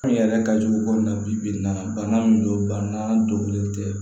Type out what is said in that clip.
An yɛrɛ ka jugu ko in na bi n na bana min don bana donnen tɛ